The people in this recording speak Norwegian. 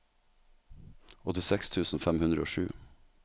åttiseks tusen fem hundre og sju